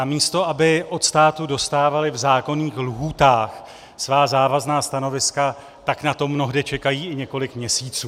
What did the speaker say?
A místo, aby od státu dostávali v zákonných lhůtách svá závazná stanoviska, tak na to mnohde čekají i několik měsíců.